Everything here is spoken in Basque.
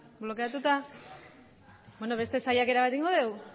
blokeatuta beste saiakera bat egingo dugu